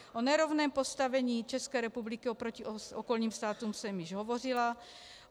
O nerovném postavení České republiky oproti okolním státům jsem již hovořila.